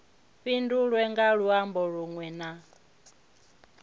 fhindulwe nga luambo lunwe na